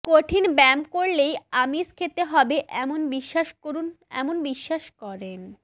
কঠিন ব্যায়াম করলেই আমিষ খেতে হবে এমন বিশ্বাস করেন বহু মানুষ